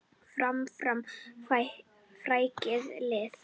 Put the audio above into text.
Fram, fram, frækið lið!